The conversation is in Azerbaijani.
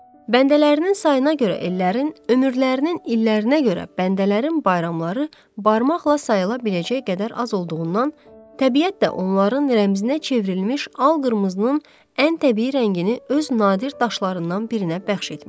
Bəndələrinin sayına görə ellərin, ömürlərinin illərinə görə bəndələrin bayramları barmaqla sayıla biləcək qədər az olduğundan, təbiət də onların rəmzinə çevrilmiş al-qırmızının ən təbii rəngini öz nadir daşlarından birinə bəxş etmişdi.